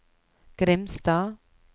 Grimstad